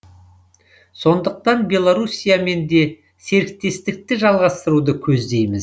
сондықтан белорусиямен де серіктестікті жалғастыруды көздейміз